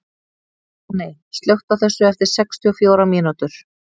Anney, slökktu á þessu eftir sextíu og fjórar mínútur.